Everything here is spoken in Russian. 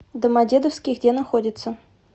домодедовский где находится